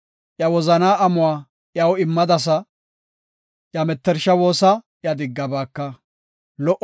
Iya Wozanaa amuwa iyaw immadasa; iya mettersha woosa iya diggabaaka. Salaha